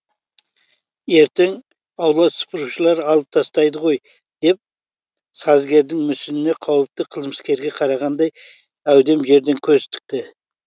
ертең аула сыпырушылар алып тастайды ғой деп сазгердің мүсініне қауіпті қылмыскерге қарағандай әудем жерден көз тікті